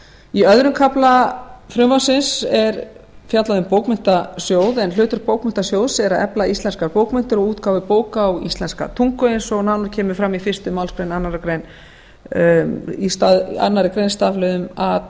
í öðrum kafla frumvarpsins er fjallað um bókmenntasjóð en hlutur bókmenntasjóðs er að efla íslenskar bókmenntir og útgáfu bóka á íslenska tungu eins og nánar kemur fram í fyrstu málsgrein annarrar greinar í stafliðum a